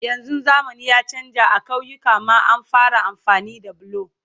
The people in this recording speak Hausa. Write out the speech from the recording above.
yanzun zamani ya chanza a kauyuka ma an fara amfani da bulo